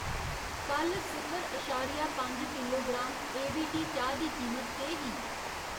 कल्ल सिफर अशारिया पंज किलोग्राम ए वी टी चाह् दी कीमत केह् ही?